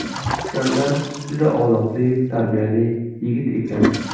Iskandar juda odobli, tarbiyali yigit ekan.